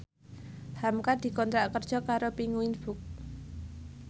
hamka dikontrak kerja karo Penguins Books